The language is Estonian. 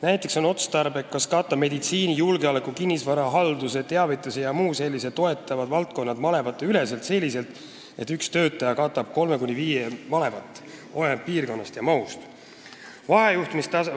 Näiteks on otstarbeks katta meditsiini, julgeoleku, kinnisvarahalduse, teavituse jms toetavad valdkonnad malevateüleselt selliselt, et üks töötaja katab 3–5 malevat, olenevalt piirkonnast ja mahust).